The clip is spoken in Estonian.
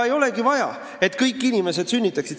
Ei olegi vaja, et kõik inimesed sünnitaksid.